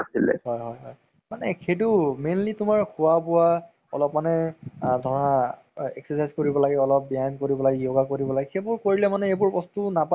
ধৰা family ৰ লগত চালে মানে family লগত time time spend অলপ কৰা হয়। আৰু cinema hall ত যদি তুমি চোৱা তেনেহলে cinema hall ত চোৱা মানে যিটো আনন্দ সেইটো বেলেগ মানে।